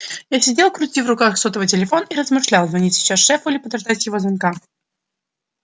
я сидел крутил в руках сотовый телефон и размышлял звонить сейчас шефу или подождать его звонка